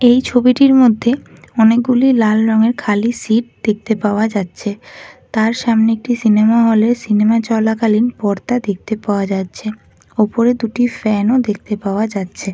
এই ছবিটির মধ্যে অনেকগুলি লাল রঙের খালি সিট দেখতে পাওয়া যাচ্ছে তার সামনে একটি সিনেমা হলে সিনেমা চলাকালীন পর্দা দেখতে পাওয়া যাচ্ছে ওপরে দুটি ফ্যানও দেখতে পাওয়া যাচ্ছে ।